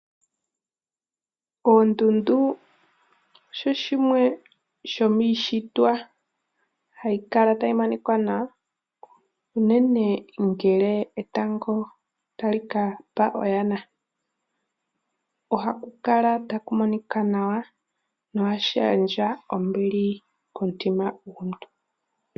Oondundu osho shimwe shomiishitwa hayi kala tayi monika nawa unene ngele etango tali kapa oyana. Ohakukala takumonika nawa no hashi gandja ombili komutima gomuntu.